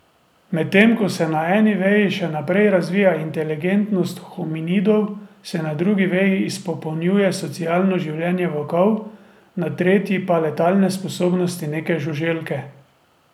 Medtem ko se na eni veji še naprej razvija inteligentnost hominidov, se na drugi veji izpopolnjuje socialno življenje volkov, na tretji pa letalne sposobnosti neke žuželke.